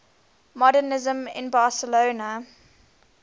modernisme in barcelona